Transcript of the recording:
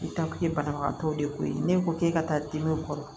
banabagatɔw de ko ye ne ko k'e ka taa dimini kɔrɔ